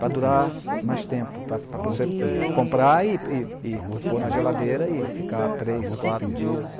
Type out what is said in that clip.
Para durar mais tempo, para para você comprar e e e pôr na geladeira e ficar três, quatro dias